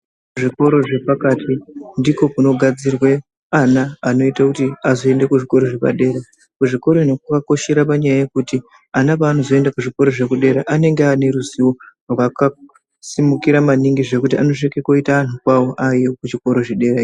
Zvikoro zvepakati ndiko kunogadzirwe ana anoite kuti azoende kuzvikoro zvepadera. Kuzvikora ino kwakakoshera panyaya yekuti ana pavanozoenda kuzvikora zvekudera anenge ane ruzivo rwakasimukira maningi zvekuti anosvike koita anhu kwavo aayo kuzvikoro zvedera iyo.